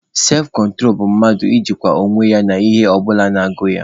Sefkontro bụ mmadụ ijinwu onwe ya n'ihe ọ bụla na-agụ ya.